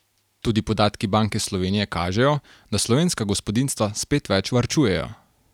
Tudi podatki Banke Slovenije kažejo, da slovenska gospodinjstva spet več varčujejo.